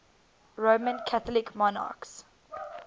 roman catholic monarchs